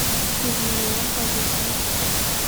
пигмалион поехали